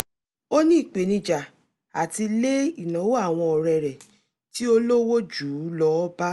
ó ní ìpènijà àti lé ìnáwó àwọn ọ̀rẹ́ rẹ̀ tí ólówó jù u lọ bá